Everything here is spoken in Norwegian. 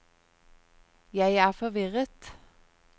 jeg er forvirret